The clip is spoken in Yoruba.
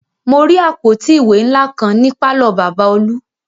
Mo rí àpótí ìwé ńlá kan ní pàlọ́ Bàbá olú